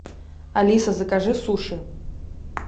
алиса закажи суши